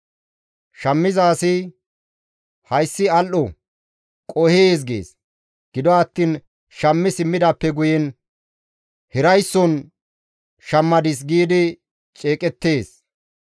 Shammiza asi, «Hayssi al7o! Qohees!» gees; gido attiin shammi simmidaappe guyen, «Hiraysson shammadis» giidi ceeqettees.